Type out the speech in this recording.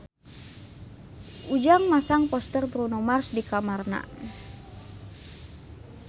Ujang masang poster Bruno Mars di kamarna